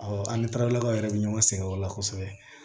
Awɔ an ni taaralakaw yɛrɛ bɛ ɲɔgɔn sɛgɛn o la kosɛbɛ